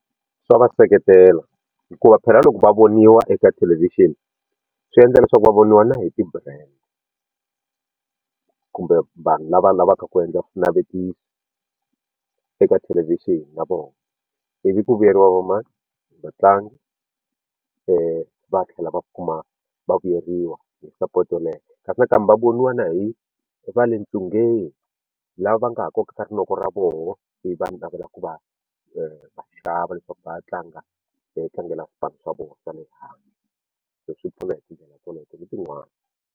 Swa va seketela hikuva phela loko va voniwa eka thelevhixini swi endla leswaku va voniwa na hi ti-brand kumbe vanhu lava lavaka ku endla swinavetiso eka thelevhixini na vona ivi ku vuyeriwa va mini vatlangi va tlhela va kuma va vuyeriwa hi support ya le henhla kasi nakambe va voniwa na hi va le ntsungeni lava va nga ha kokaka rinoko ra vona ivi va navelaka ku va va xava leswaku va ya tlanga swipano swa vona swa le handle so swi pfuna hi tindlela teleto ni tin'wana.